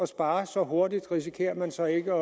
spare så hurtigt risikerer man så ikke